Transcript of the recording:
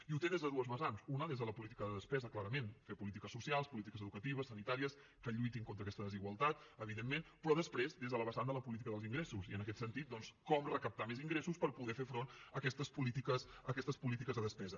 i els tenen des de dues vessants una des de la política de despesa clarament fer polítiques socials polítiques educatives sanitàries que lluitin contra aquesta desigualtat evidentment però després des de la vessant de la política dels ingressos i en aquest sentit doncs com recaptar més ingressos per poder fer front a aquestes polítiques de despesa